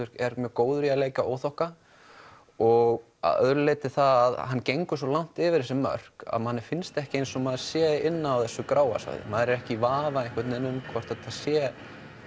er mjög góður í að leika óþokka og að öðru leyti það hann gengur svo langt yfir þessi mörk að manni finnst ekki eins og maður sé inni á þessu gráa svæði maður er ekki í vafa um hvort þetta sé